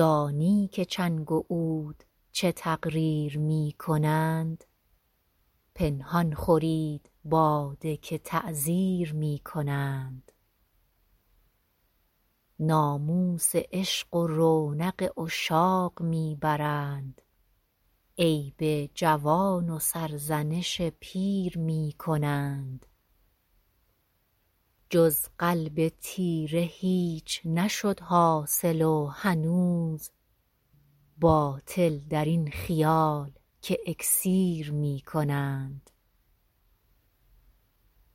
دانی که چنگ و عود چه تقریر می کنند پنهان خورید باده که تعزیر می کنند ناموس عشق و رونق عشاق می برند عیب جوان و سرزنش پیر می کنند جز قلب تیره هیچ نشد حاصل و هنوز باطل در این خیال که اکسیر می کنند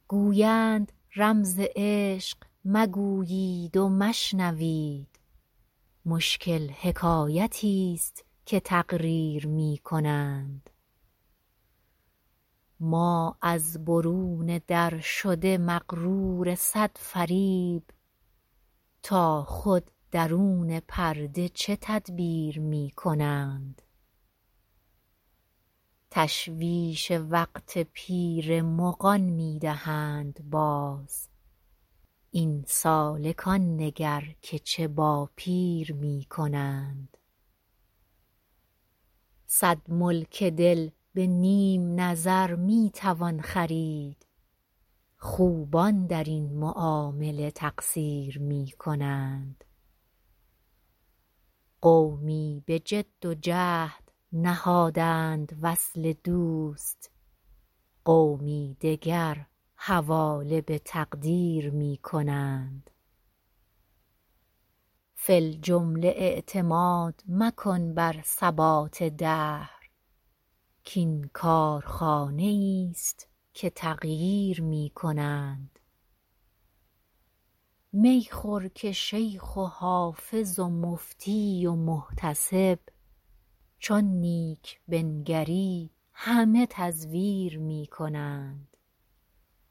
گویند رمز عشق مگویید و مشنوید مشکل حکایتیست که تقریر می کنند ما از برون در شده مغرور صد فریب تا خود درون پرده چه تدبیر می کنند تشویش وقت پیر مغان می دهند باز این سالکان نگر که چه با پیر می کنند صد ملک دل به نیم نظر می توان خرید خوبان در این معامله تقصیر می کنند قومی به جد و جهد نهادند وصل دوست قومی دگر حواله به تقدیر می کنند فی الجمله اعتماد مکن بر ثبات دهر کـ این کارخانه ایست که تغییر می کنند می خور که شیخ و حافظ و مفتی و محتسب چون نیک بنگری همه تزویر می کنند